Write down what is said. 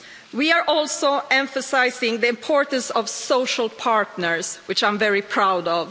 We also emphasise the importance of social partners, which I'm very proud